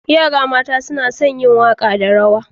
Yara mata suna son yin waka da rawa.